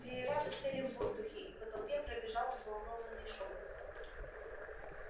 веера застыли в воздухе и по толпе пробежал взволнованный шёпот